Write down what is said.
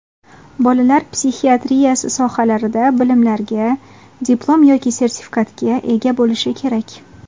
bolalar psixiatriyasi sohalarida bilimlarga (diplom yoki sertifikatga) ega bo‘lishi kerak.